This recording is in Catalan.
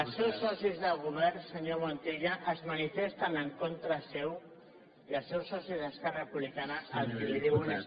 els seus socis de govern senyor montilla es manifesten en contra seu i els seus socis d’esquerra republicana el que li diuen és